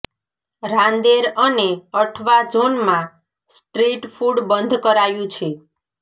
રાંદેર અને અઠવા ઝોનમાં street food બંધ કરાયું છે